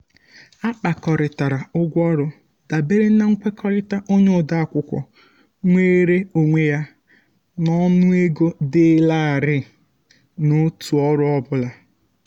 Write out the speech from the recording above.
a kpakọrịtara ụgwọ ọrụ dabere na nkwekọrịta onye ode akwụkwọ nweere onwe ya n'ọnụego dị larịị n'otu ọrụ ọ bụla.